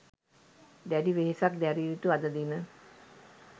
දැඩි වෙහෙසක් දැරිය යුතු අද දින